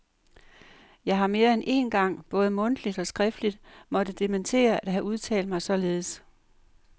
Jeg har mere end én gang både mundtligt og skriftligt måtte dementere at have udtalt mig således.